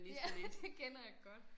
Ja det kender jeg godt